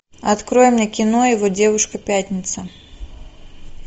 открой мне кино его девушка пятница